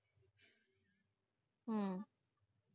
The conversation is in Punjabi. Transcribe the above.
ਹਮ